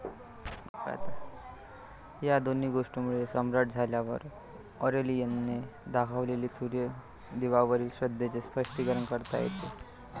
या दोन गोष्टींमुळे सम्राट झाल्यावर ऑरेलियनने दाखवलेली सूर्यदेवावरील श्रद्धेचे स्पष्टीकरण करता येते.